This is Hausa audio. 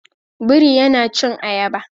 Biri yana cin ayaba